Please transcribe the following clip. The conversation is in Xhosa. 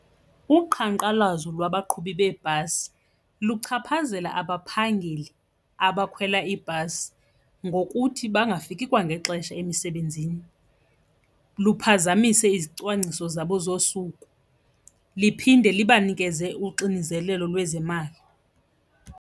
Uqhankqalazo lwabaqhubi beebhasi luchaphazela abaphangeli abakhwela iibhasi ngokuthi bangafiki kwangexesha emisebenzini, luphazamise izicwangciso zabo zosuku liphinde libanikeze uxinizelelo lwezemali.